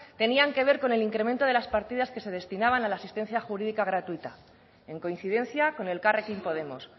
tenía que ver con el incremento de las partidas que se destinaban a la asistencia jurídica gratuita en coincidencia con elkarrekin podemos